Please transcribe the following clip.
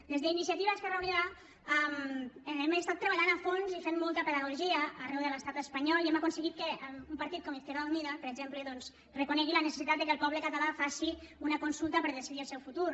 des d’iniciativa esquerra unida hem estat treballant a fons i fent molta pedagogia arreu de l’estat espanyol i hem aconseguit que un partit com izquierda unida per exemple reconegui la necessitat que el poble català faci una consulta per decidir el seu futur